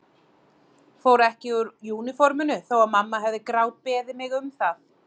Fór ekki úr úniforminu þó að mamma hefði grátbeðið mig um það.